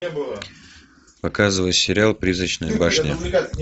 показывай сериал призрачная башня